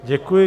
Děkuji.